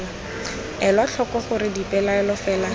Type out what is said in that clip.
elwa tlhoko gore dipelaelo fela